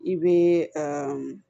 I bɛ aa